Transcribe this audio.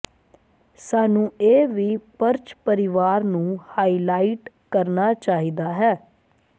ਸਾਨੂੰ ਇਹ ਵੀ ਪਰਚ ਪਰਿਵਾਰ ਨੂੰ ਹਾਈਲਾਈਟ ਕਰਨਾ ਚਾਹੀਦਾ ਹੈ